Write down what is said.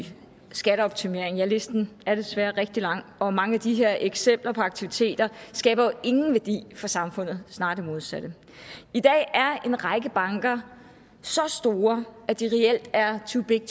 skatteoptimering ja listen er desværre rigtig lang og mange af de her eksempler på aktiviteter skaber jo ingen værdi for samfundet snarere det modsatte i dag er en række banker så store at de reelt er too big